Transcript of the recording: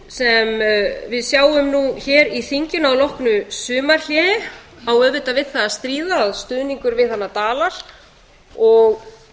ríkisstjórnin sem við sjáum nú hér í þinginu að loknu sumarhléi á auðvitað við það að stríða að stuðningur við hana dalar og